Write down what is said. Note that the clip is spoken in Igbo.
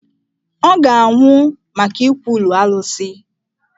Ọ ga-anwụ maka ikwulu Alụsị.